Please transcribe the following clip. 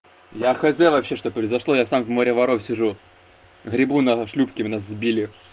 я хотел вообще что произошло я сам в море воров сижу гребу на шлюпке нас сбили